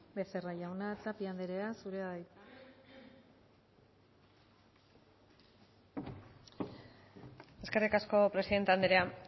becerra jauna tapia anderea zurea da hitza eskerrik asko presidente anderea